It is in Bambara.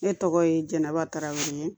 Ne tɔgɔ ye jɛnaba tarawele